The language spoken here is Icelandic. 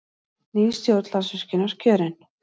Ný stjórn Landsvirkjunar kjörin